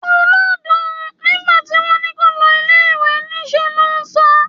Olódo! Nígbà tí wón ní kó o lọ ilẹ̀ ìwé, ní ṣe lò ń sá.